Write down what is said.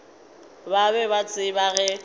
ba be ba tseba ge